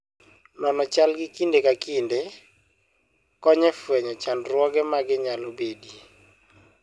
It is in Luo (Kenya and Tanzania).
Nono chalgi kinde ka kinde, konyo e fwenyo chandruoge manyalo bedoe.